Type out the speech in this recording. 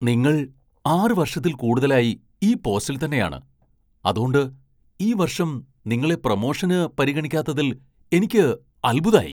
നിങ്ങൾ ആറ് വർഷത്തിൽ കൂടുതലായി ഈ പോസ്റ്റിൽ തന്നെയാണ് , അതോണ്ട് ഈ വർഷം നിങ്ങളെ പ്രമോഷന് പരിഗണിക്കാത്തതിൽ എനിക്ക് അത്ഭുതായി .